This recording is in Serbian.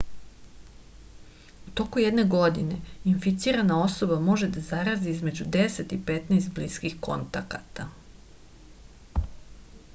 u toku jedne godine inficirana osoba može da zarazi između 10 i 15 bliskih kontakata